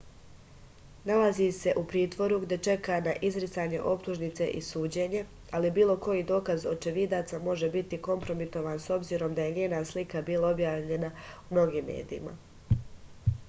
nalazi se u pritvoru gde čeka na izricanje optužnice i suđenje ali bilo koji dokaz očevidaca može biti kompromitovan s obzirom da je njena slika bila objavljena u mnogim medijima